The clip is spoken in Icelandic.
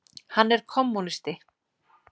Hann er kommúnisti.